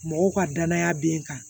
Mɔgɔw ka danaya be n kan